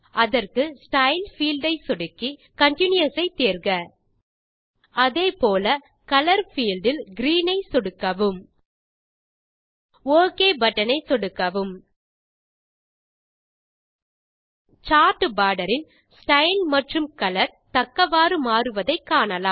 அதற்கு style field ஐ சொடுக்கி கன்டினியூஸ் ஐ தேர்க அதே போல கலர் பீல்ட் இல் கிரீன் ஐ சொடுக்கவும் ஒக் பட்டன் ஐ சொடுக்கவும் சார்ட் போர்டர் இன் ஸ்டைல் மற்றும் கலர் தக்கவாறு மாறுவதை காணலாம்